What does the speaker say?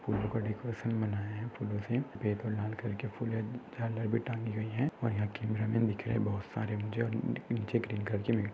फूलोका decoration बनाया है फूलोसे फुले झालर पे टाँगी हुई है और यहा कैमरा मन दिख रहा है बहुत सारे मुझे नीचे क्लिन करके--